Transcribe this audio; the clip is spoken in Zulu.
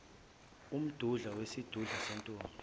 umdudla wesidudula sentombi